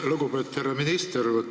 Lugupeetud härra minister!